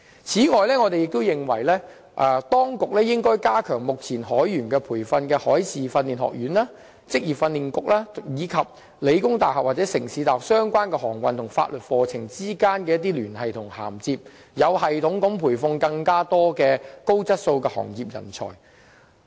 此外，我們也認為當局應加強目前提供海員培訓的海事訓練學院、職業訓練局及香港理工大學或香港城市大學之間有關航運和法律課程的聯繫和涵接，有系統地培訓更多高質素的行業人才。